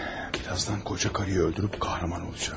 Birazdan qoca qadını öldürüb qəhrəman olacağam.